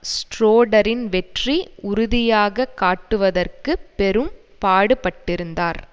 ஷ்ரோடரின் வெற்றி உறுதியாக காட்டுவதற்கு பெரும் பாடுபட்டிருந்தார்